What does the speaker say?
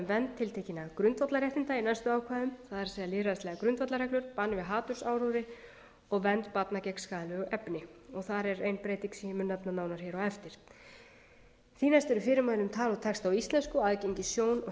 vernd tiltekinna grundvallarréttinda í næstu ákvæðum það er lýðræðislegar grundvallarreglur bann við hatursáróðri og vernd barna gegn skaðlegu efni og þar er ein breyting sem ég mun nefna nánar á eftir því næst eru fyrirmæli um tal og texta á íslensku og aðgengi sjón og